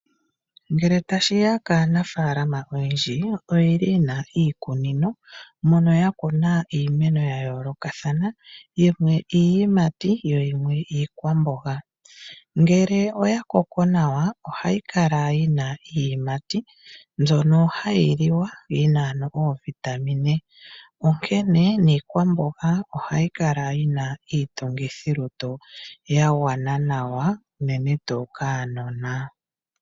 Ngele tashi ya kaanafaalama oyendji ye na iikunino mono yakuna iimeno yayoolokathana yimwe iiyimati yo yimwe iikwamboga. Ngele oya Koko nawa ohayi kala yi na iiyimati mbyono hayi li wa yi na ano oovitamine onkene niikwambogo ohayi kala yi na iitungithilutu ya gwana nawa unene tuu kaanona.